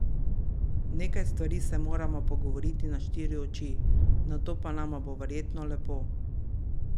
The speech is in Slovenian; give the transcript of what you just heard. Nekaj stvari se morava pogovoriti na štiri oči, nato pa nama bo verjetno lepo.